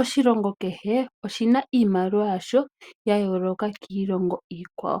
Oshilongo kehe oshina iimaliwa yasho yayooloka kiilongo iikwawo.